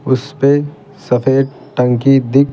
उस पे सफेद टंकी दिख --